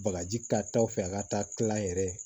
Bagaji ka taa o fɛ a ka taa kil'a yɛrɛ ye